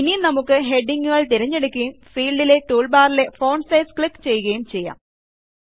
ഇനി നമുക്ക് ഹെഡിംഗ് ങ്ങുകൾ തിരഞ്ഞെടുക്കുകയും ഫീൽഡിലെ ടൂൾബാറിലെ ഫോണ്ട് സൈസ് ക്ലിക്ക് ചെയ്യുകയും ചെയ്യാം